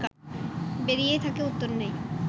বেরিয়েই থাকে, উত্তর নেই